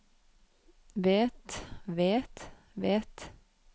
vet vet vet